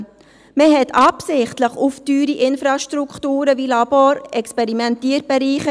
Man verzichtete in den Provisorien absichtlich auf teure Infrastrukturen wie Labore und Experimentierbereiche.